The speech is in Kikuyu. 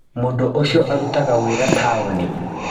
Mũndũ ũcio arutaga wĩra taoni.